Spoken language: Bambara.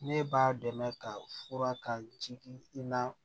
Ne b'a dɛmɛ ka fura ta jigin i na